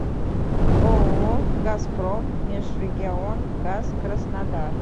ооо газпром межрегионгаз краснодар